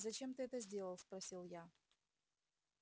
зачем ты это сделал спросил я